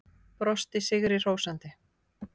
Brosti sigri hrósandi.